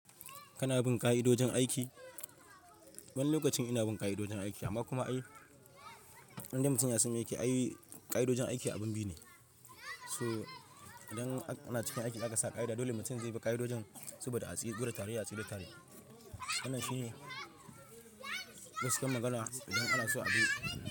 Kana bin kai ka idodin aiki? Wani lokacin ina bin kai kaidodin aiki amma kuma ai, indai mutam yasan aiki ai kai kaidodin aiki abin biyu ne. So idan ana cikin aiki aka sa kaida dole mutum zai bi kaidojin saboda a tsi guda tare ya tsige tare. Wannan shi ne wasu yan magana idan ana so a bi.